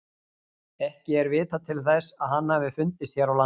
Ekki er vitað til þess að hann hafi fundist hér á landi.